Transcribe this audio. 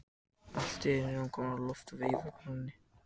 Allt í einu er hún komin á loft og veifar konunni.